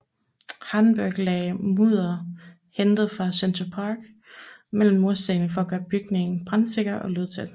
Hardenbergh lagde mudder hentet fra Central Park mellem murstenene for at gøre bygningen brandsikker og lydtæt